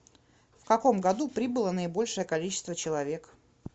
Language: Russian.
в каком году прибыло наибольшее количество человек